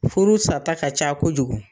Furu sa ta ka ca kojugu.